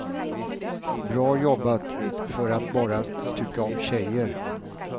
Bra jobbat för att bara tycka om tjejer.